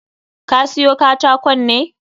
Ka siyo katakon ne?